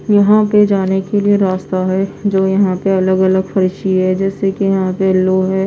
यहां पे जाने के लिए रास्ता है जो यहां पे अलग अलग है जैसे कि यहां पे लोहे--